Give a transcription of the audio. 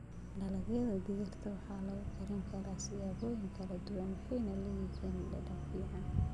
Dalagyada digirta waxaa lagu karin karaa siyaabo kala duwan waxayna leeyihiin dhadhan fiican.